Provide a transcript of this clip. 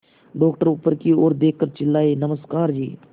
doctor ऊपर की ओर देखकर चिल्लाए नमस्कार जी